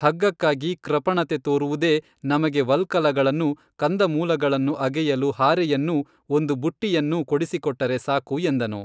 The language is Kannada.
ಹಗ್ಗಕ್ಕಾಗಿ ಕೃಪಣತೆ ತೋರುವುದೇ ನಮಗೆ ವಲ್ಕಲಗಳನ್ನೂ ಕಂದಮೂಲಗಳನ್ನು ಅಗೆಯಲು ಹಾರೆಯನ್ನೂ ಒಂದು ಬುಟ್ಟಿಯನ್ನೂ ಕೊಡಿಸಿಕೊಟ್ಟರೆ ಸಾಕು ಎಂದನು